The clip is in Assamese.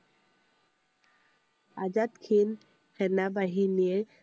আজাদ হিন্দ সেনা বাহিনীৰ